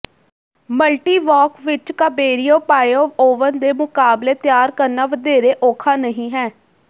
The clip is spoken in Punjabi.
ਮਲਟੀਵਾਰਕ ਵਿੱਚ ਕਾਬੇਰਿਉ ਪਾਈਓ ਓਵਨ ਦੇ ਮੁਕਾਬਲੇ ਤਿਆਰ ਕਰਨਾ ਵਧੇਰੇ ਔਖਾ ਨਹੀਂ ਹੈ